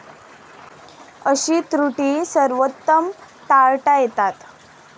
अशी त्रुटी सर्वोत्तम टाळता येतात.